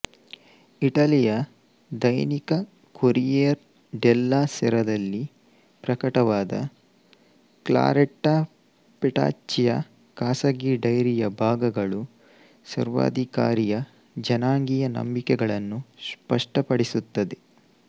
ಇಟಲಿಯ ದೈನಿಕ Corriere della ಸೆರಾದಲ್ಲಿ ಪ್ರಕಟವಾದ ಕ್ಲಾರೆಟ್ಟಾ ಪೆಟಾಚ್ಚಿಯ ಖಾಸಗೀ ಡೈರಿಯ ಭಾಗಗಳು ಸರ್ವಾಧಿಕಾರಿಯ ಜನಾಂಗೀಯ ನಂಬಿಕೆಗಳನ್ನು ಸ್ಪಷ್ಟಪಡಿಸುತ್ತವೆ